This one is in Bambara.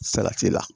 Salati la